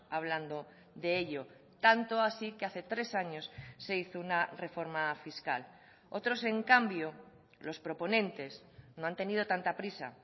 hablando de ello tanto así que hace tres años se hizo una reforma fiscal otros en cambio los proponentes no han tenido tanta prisa